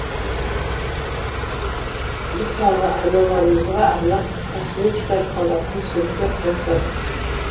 мысалы аналарымызға арнап косметика салатын сөмке жасадық